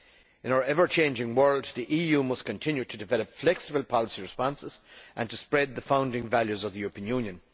In our ever changing world, the EU must continue to develop flexible policy responses and to spread the founding values of the European Union.